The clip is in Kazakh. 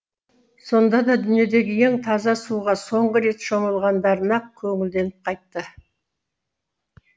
сонда да дүниедегі ең таза суға соңғы рет шомылғандарына көңілденіп қайтты